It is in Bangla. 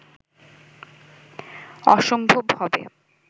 অসম্ভব হবে